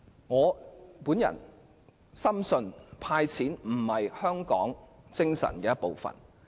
我深信"派錢"並不符合香港精神。